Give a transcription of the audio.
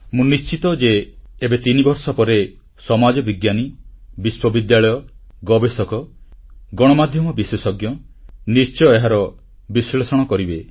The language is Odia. ମୁଁ ନିଶ୍ଚିତ ଭାବେ ମନେ କରୁଛି ଏବେ ତିନିବର୍ଷ ପରେ ସମାଜବିଜ୍ଞାନୀ ବିଶ୍ୱବିଦ୍ୟାଳୟ ଗବେଷକ ଗଣମାଧ୍ୟମ ବିଶେଷଜ୍ଞ ନିଶ୍ଚୟ ଏହାର ବିଶ୍ଲେଷଣ କରିବେ